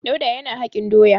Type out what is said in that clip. Dauda yana hakin doya.